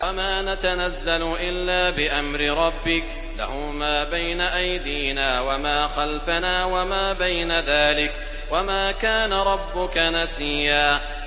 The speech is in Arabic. وَمَا نَتَنَزَّلُ إِلَّا بِأَمْرِ رَبِّكَ ۖ لَهُ مَا بَيْنَ أَيْدِينَا وَمَا خَلْفَنَا وَمَا بَيْنَ ذَٰلِكَ ۚ وَمَا كَانَ رَبُّكَ نَسِيًّا